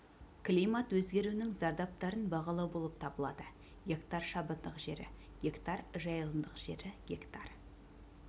климат өзгеруінің зардаптарын бағалау болып табылады гектар шабындық жері гектар жайылымдық жері гектар